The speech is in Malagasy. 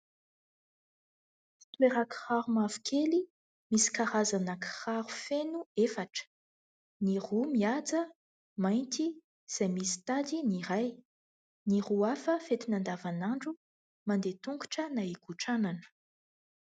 Fitoeran-kiraro mavokely misy karazana kiraro feno efatra : ny roa mihaja, mainty izay misy tady ny iray, ny roa hafa fentina andavan'andro, mandeha an-tongotra na hikotranana.